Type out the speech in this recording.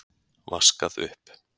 Vaskað upp.